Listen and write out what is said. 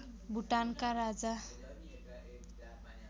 भुटानका राजा